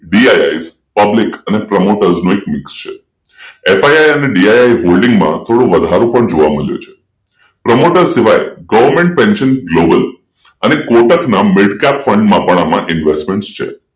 BISpublic promoters છે FISDISholding ના થોડો વધારો પણ જોવા મળ્યો છે promoter goverment Pension Global અને કોટકના મિડ કેપ ફૂંડ માં પાન આમાં ઈન્વેસ્ટમેન્ટ પન છે